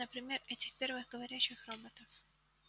например этих первых говорящих роботов